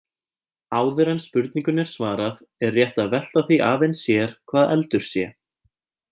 Áður en spurningunni er svarað er rétt að velta því aðeins sér hvað eldur sé.